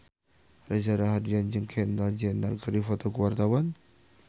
Reza Rahardian jeung Kendall Jenner keur dipoto ku wartawan